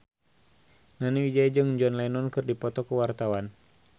Nani Wijaya jeung John Lennon keur dipoto ku wartawan